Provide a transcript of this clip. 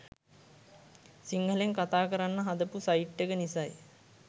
සිංහලෙන් කතාකරන්න හදපු සයිට් එක නිසයි.